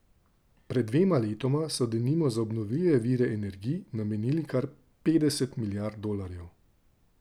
Pred dvema letoma so denimo za obnovljive vire energij namenili kar petdeset milijard dolarjev.